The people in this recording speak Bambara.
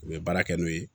U bɛ baara kɛ n'o ye